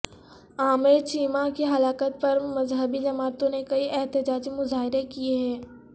عامر چیمہ کی ہلاکت پر مذہبی جماعتوں نے کئی احتجاجی مظاہرے کیی ہیں